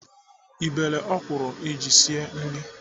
Ị bere ọkwụrụ iji esi nri?